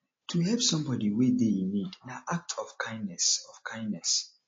to help somebody wey de in need na act of kindness of kindness